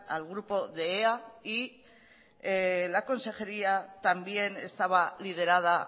al grupo de ea y la consejería también estaba liderada